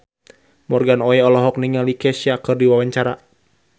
Morgan Oey olohok ningali Kesha keur diwawancara